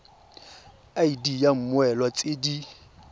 id ya mmoelwa tse di